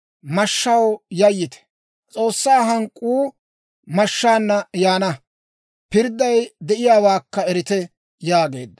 mashshaw yayyite! S'oossaa hank'k'uu mashshaana yaana; pirdday de'iyaawaakka erite» yaageedda.